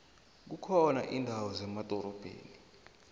kukhona indawo zemadorobheni